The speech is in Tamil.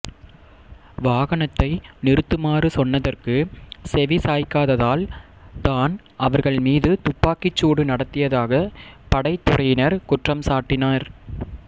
வாகனத்தை நிறுத்துமாறு சோன்னதற்கு செவிசாய்க்காததால் தான் அவர்கள் மீது துப்பாக்கிச்சூடு நடத்தியதாக படைத்துறையினர் குற்றம் சாட்டினர்